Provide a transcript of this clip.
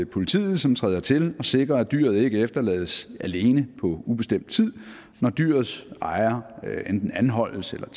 politiet som træder til og sikrer at dyret ikke efterlades alene på ubestemt tid når dyrets ejer enten anholdes eller